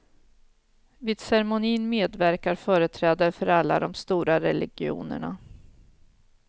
Vid ceremonin medverkar företrädare för alla de stora religionerna.